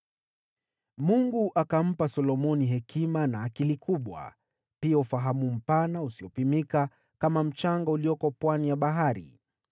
Mungu akampa Solomoni hekima na akili kubwa, pia ufahamu mpana usiopimika kama mchanga ulioko pwani ya bahari.